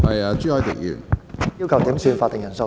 我要求點算法定人數。